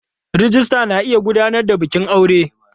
Rijista na iya gudanar da bikin aure.